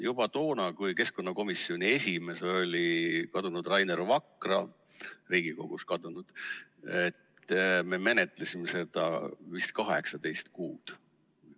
Juba toona, kui keskkonnakomisjoni esimees oli kadunud Rainer Vakra – Riigikogust kadunud –, me menetlesime seda vist 18 kuud.